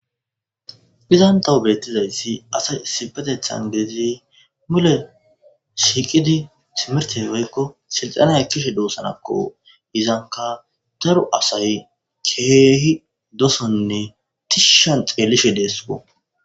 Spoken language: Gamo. izan tawu beettizayssi asay sipetethan geizi mule shiiqidi simerteweykko silxana ekkishe doosanakko izanka daru asay keehi dosonne tishshan xeelishe deesko